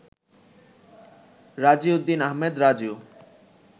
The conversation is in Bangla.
রাজি উদ্দিন আহমেদ রাজু